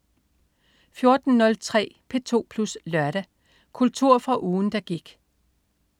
14.03 P2 Plus Lørdag. Kultur fra ugen, der gik